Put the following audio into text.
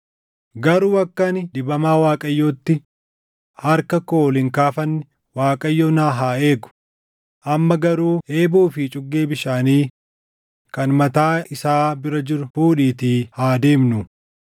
Garuu akka ani dibamaa Waaqayyootti harka koo ol hin kaafanne Waaqayyo na haa eegu; amma garuu eeboo fi cuggee bishaanii kan mataa isaa bira jiru fuudhiitii haa deemnu.”